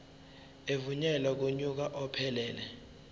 evunyelwe kunyaka ophelele